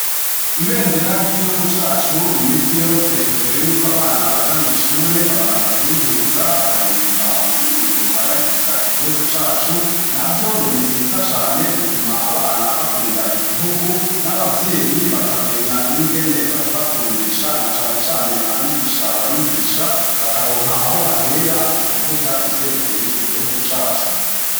Ibendera ry'igihugu cacu iminsi yose imbere yuko abana baja mw'ishure, babanza kuriduza bakaririmba ururirimbo ruhayagiza igihugu cacu; navyo ngo ni vyiza cane bituma abana bakunda igihugu, n'abavyeyi bakamenya n'ingene bakibakundisha; na cane cane abigisha babigisha bakaronka aho bahera mu kuvuga ivyerekeye igihugu cacu.